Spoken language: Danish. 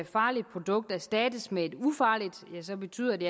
farligt produkt erstattes med et ufarligt ja så betyder det